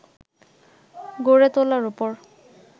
গড়ে তোলার ওপর